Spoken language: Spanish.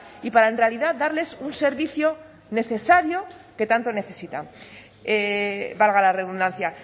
y para en realidad darles un servicio necesario que tanto necesitan valga la redundancia